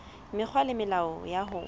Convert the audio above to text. mekgwa le melao ya ho